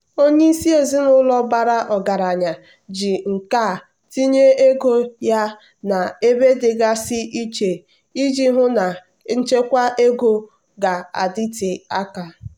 onye isi ezinụlọ bara ọgaranya ji nkà tinye ego ya n'ebe dịgasị iche iji hụ na nchekwa ego ga-adịte aka.